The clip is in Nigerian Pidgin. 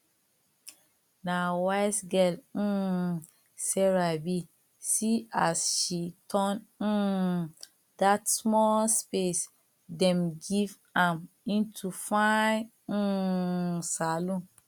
na wise girl um sarah be see as she turn um dat small space dem give am into fine um salon